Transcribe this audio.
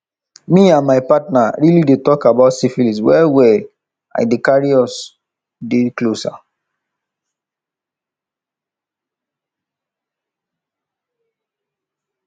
me and my partner really dey talk about syphilis well well and e dey dey carry us dey closer